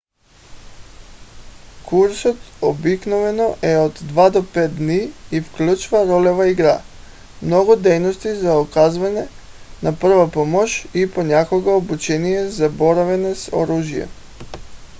курсът обикновено е от 2 до 5 дни и включва ролева игра много дейности за оказване на първа помощ и понякога обучение за боравене с оръжие